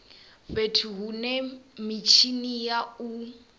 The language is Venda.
fhethu hune mitshini ya u